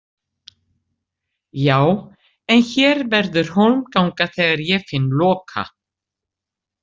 Já, en hér verður hólmganga þegar ég finn Loka.